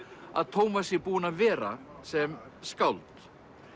að Tómas sé búinn að vera sem skáld